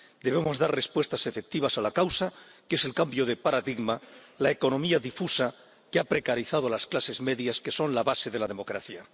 Debemos dar respuestas efectivas a la causa que es el cambio de paradigma la economía difusa, que ha precarizado a las clases medias, que son la base de la democracia.